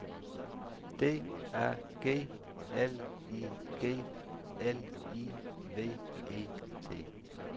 D A G L I G L I V E T